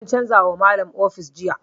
An canza wa Malam ofis jiya.